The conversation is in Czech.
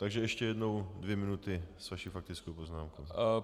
Takže ještě jednou dvě minuty s vaší faktickou poznámkou.